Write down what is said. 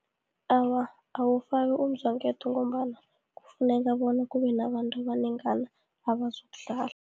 Awa, awufaki umzwangedwa, ngombana kufuneka bona kubenabantu abanengana abazokudlala.